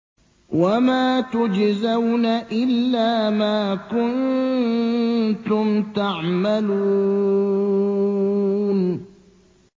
وَمَا تُجْزَوْنَ إِلَّا مَا كُنتُمْ تَعْمَلُونَ